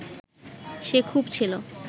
সে খুব ছিল